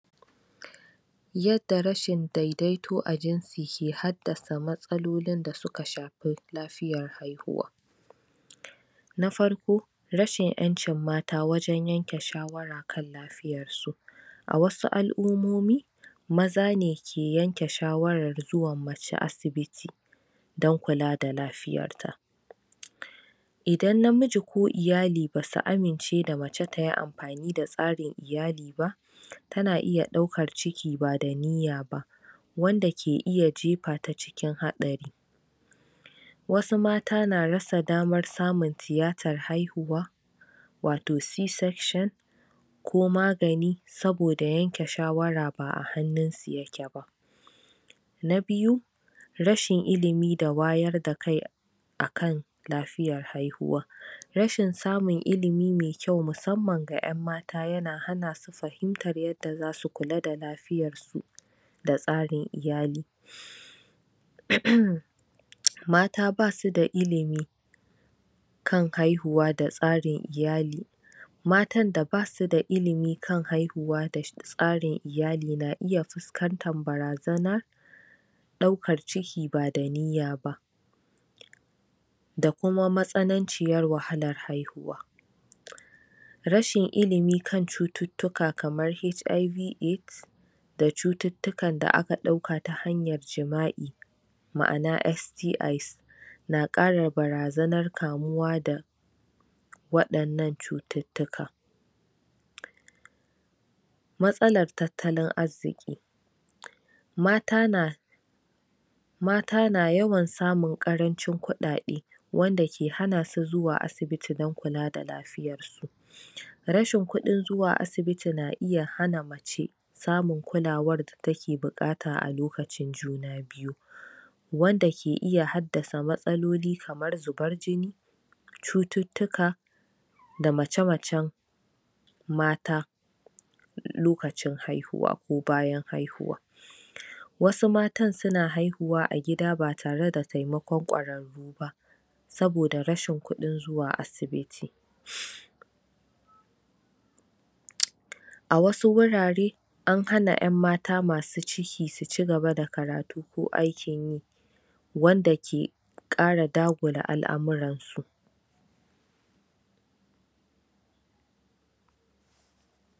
Yadda rashin daidaito a jinsi ke haddasa matsalolin da suka shafi lafiyar haihuwa na farko, rashin 'yancin mata wajen yanke shawara kanlafiyarsu. A wasu'al'umomi, maza ne ke yanke shawarar zuwanmace asibiti don kula da lafiyarta. Idan namiji ko iyali basu amince da mace tayi tsarin iyali ba, tana iya ɗaukar ciki ba da niya ba, wanda ke iya jefa ta cikin hatsari. Wasu mata na rasa damar samun tiyatar haihuwa wato C section, ko magani saboda yanke shawara ba hannun su yakeba. Na Biyu: Rashin Ilimi da Wayar da kai akan Lafiyar Haihuwa. Rashin samun ilimi mai kyau musamman ga 'yan mata yana hana su fahimtar yadda za su kula da lafiyar su da tsarin iyali.? Mata ba su da ilimi, kan haihuwa da tsarin iyali, Matan da basu da ilimi kan haihuwa da tsarin iyali na iya fuskantar barazanar ɗaukar ciki ba da niya ba, da kuma matsananciyar wahalar haihuwa. Rashin ilimi kan cututtuka kamar HIV/AIDS, da cututtukan da akan ɗauka ta hanyar jima'i, ma'ana, SDI's, na ƙara barazanar kamuwa da da waɗannan cututtuka. Matsalar Tattlin Arziƙi. Mata na yawan samun ƙarancin kuɗaɗe wanda ke hana su zuwa asibiti don kula da lafiyarsu. Rashin kuɗin zuwa asibiti na iya hana mace samun kulawar da take buƙata a lokacin juna biyu wanda ke iya haddasa matsaloli kamar jubar jini, cututtuka, da mace-macen mata lokacin haihuwa ko bayan haihuwa. Wasu matan suna haihuwa a gida ba tare da taimakon ƙwararru ba, saboda rashin kuɗin zuwa asibiti A wasu wurare, an hana 'yan mata masu ciki su ci gaba da kataru ko aiki, wanda ke ƙ ara dagula al'amuransu.